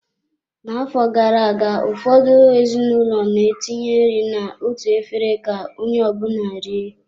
N'afọ gara aga, ụfọdụ ezinụlọ na-etinye nri na-otu efere ka onye ọ bụla rie.